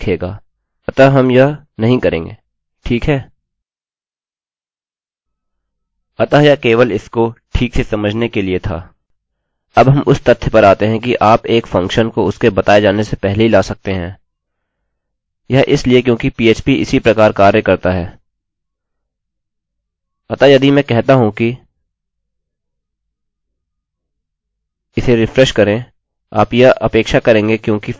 अतः यह केवल इसको ठीक से समझने के लिए था अब हम उस तथ्य पर आते हैं कि आप एक फंक्शनfunction को उसके बताये जाने से पहले ही ला सकते हैं यह इसलिए क्योंकि php इसी प्रकार कार्य करता है अतः यदि मैं कहता हूँ कि इसे रिफ्रेशrefresh करें आप यह अपेक्षा करेंगे क्योंकि फंक्शनfunction विवरण देने से पहले ही लाया जा रहा है यही कारण है कि यह इसे ऊपर से नीचे को मान्यता देगा